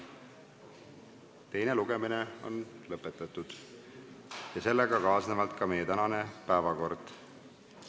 Teine lugemine on lõpetatud ja ka meie tänane päevakord on ammendatud.